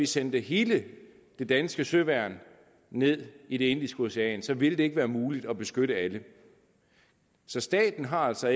sendte hele det danske søværn ned i det indiske ocean ville det ikke være muligt at beskytte alle så staten har altså